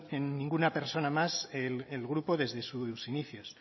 en ninguna persona más el grupo desde sus inicios